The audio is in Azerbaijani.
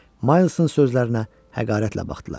Maylsın sözlərinə həqarətlə baxdılar.